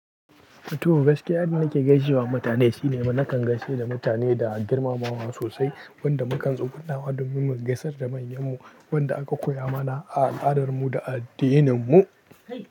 Tuh, gaskiya inda nake gaishewa mutane shine nakan gaishe da mutane da girmamawa sosai, wanda mukan tsugunawa domin mu gaisar da manyan mu wanda aka koya mana a al'adarmu da a addininmu.